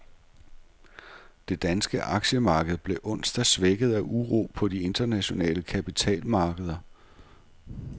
Det danske aktiemarked blev onsdag svækket af uro på de internationale kapitalmarkeder.